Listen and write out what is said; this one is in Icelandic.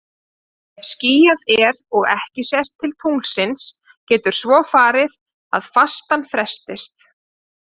Ef skýjað er og ekki sést til tunglsins getur svo farið að fastan frestist.